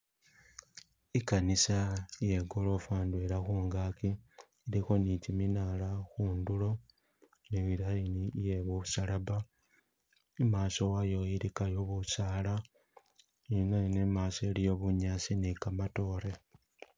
Ikanisa iye gorofa indwela khungaki ilikho ne kiminaala khundulo ne line iye kumusalaba imaaso wayo ilikayo busaala, ineno imaaso iliyo bunyaasi ne kamatoore.